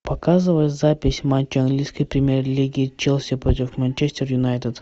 показывай запись матча английской премьер лиги челси против манчестер юнайтед